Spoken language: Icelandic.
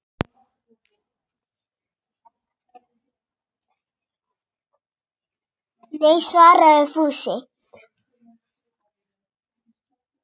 Nei svaraði Fúsi.